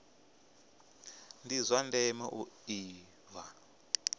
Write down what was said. ndi zwa ndeme u ḓivha